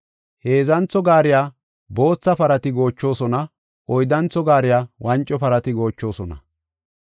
Heedzantho gaariya bootha parati goochosona; oyddantho gaariya wanco parati goochosona.